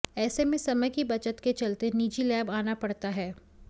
ऐसे में समय की बचत के चलते निजी लैब आना पड़ता है